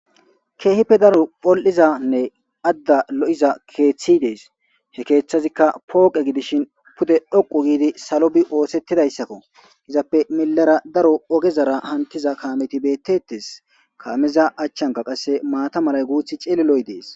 Keehippe daro pol'izanne adda lo'iza keethi desl keethezikka fooqe gidishin pude dhoqu giidi salo bi othetidayssakko izappe millera daro ogezara hamtiza kaameti beetetes kaameza achanka qase maata malay qase cililoy dees.